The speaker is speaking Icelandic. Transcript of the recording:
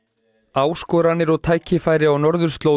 áskoranir og tækifæri á norðurslóðum